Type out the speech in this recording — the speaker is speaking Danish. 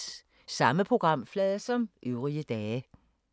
Samme programflade som øvrige dage